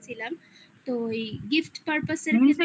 gift purpose এর